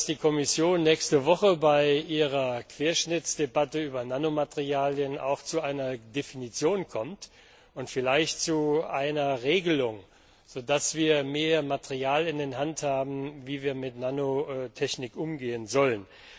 Ich hoffe, dass die Kommission nächste Woche bei ihrer Querschnittsdebatte über Nanomaterialien auch zu einer Definition kommt und vielleicht zu einer Regelung, so dass wir mehr Material in der Hand haben, wie wir mit Nanomaterialien umgehen sollen.